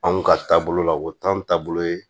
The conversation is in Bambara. Anw ka taabolo la o t'an taabolo ye